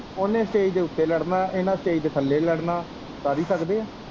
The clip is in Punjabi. ਉਨੇ ਸਟੇਜ ਦੇ ਉੱਤੇ ਲੜਨਾ ਇਨਾਂ ਸਟੇਜ ਦੇ ਥੱਲੇ ਲੜਨਾ ਕਰ ਹੀ ਸਕਦੇ ਐ?